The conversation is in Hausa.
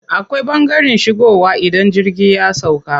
Akwai ɓangaren shigowa idan jirgi ya sauƙa.